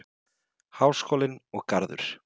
Háskólinn og Garður.